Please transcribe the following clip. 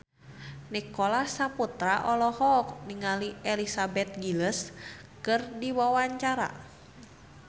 Nicholas Saputra olohok ningali Elizabeth Gillies keur diwawancara